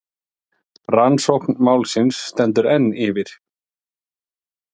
Rannsókn málsins stendur enn yfir.